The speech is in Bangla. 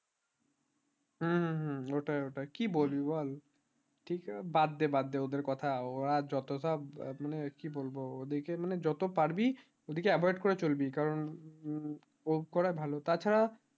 হম হম হম ওটাই ওটাই কি বলবি বল ঠিক ই বাদ দে বাদ দে ওদের কথা ওরা যত টা মানে কি বলবো ওদিকে মানে যত পারবি ওদিকে avoid করে চলবি কারণ ওকরাই ভালো তাছাড়া